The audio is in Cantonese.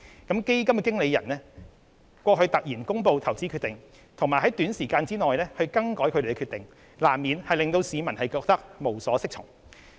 基金經理人突然公布的投資決定，以及在短時間內更改他們的決定，難免令市民感到無所適從。